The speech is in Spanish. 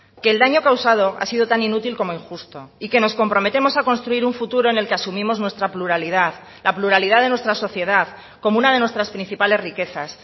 que el daño causado ha sido tan inútil como injusto y que nos comprometemos a construir un futuro en el que asumimos nuestra pluralidad la pluralidad de nuestra sociedad como una de nuestras principales riquezas